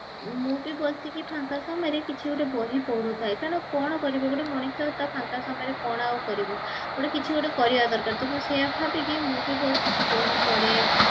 ମୁଁ ବି ବସିକି ଫାଙ୍କ ସମୟରେ କିଛି ଗୋଟେ ବହି ପଢୁଥାଏ କାରଣ କଣ କରିବି ଗୋଟେ ମଣିଷ ତ ଫାଙ୍କ ସମୟରେ କଣ ଆଉ କରିବ ଗୋଟେ କିଛି ଗୋଟେ କରିବା ଦରକାର ସେଇଆ ଭାବିକି ମୁଁ ବି ବସିକି ବହି ପଢେ